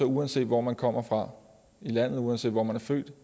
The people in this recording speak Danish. uanset hvor man kommer fra i landet uanset hvor man er født